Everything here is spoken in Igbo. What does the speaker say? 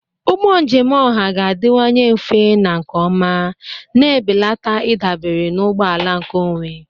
Ụgbọ njem ọha ga-adịwanye mfe na nke ọma, na-ebelata ịdabere na ụgbọ ala nkeonwe.